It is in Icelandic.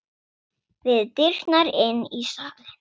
Við dyrnar inn í salinn.